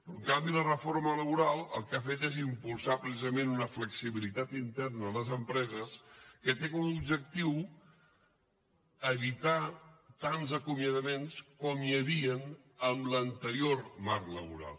però en canvi la reforma laboral el que ha fet és impulsar precisament una flexibilitat interna a les empreses que té com a objectiu evitar tants acomiadaments com hi havien en l’anterior marc laboral